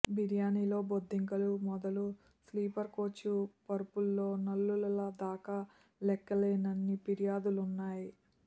బిర్యానీలో బొద్దింకలు మొదలు స్లీపర్ కోచ్ పరుపుల్లో నల్లులదాకా లెక్కలేనన్ని ఫిర్యాదులున్నాయ్